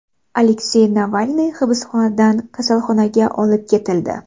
Aleksey Navalniy hibsxonadan kasalxonaga olib ketildi.